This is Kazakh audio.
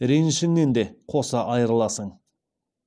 ренішіңнен де қоса айырыласың